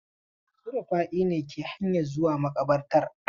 Su Rufa'i ne ke hanyan zuwa maƙabartar.